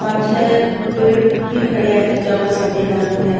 पाछे पेड़ भी खड़ा है जाप सफ़ेद रंग है।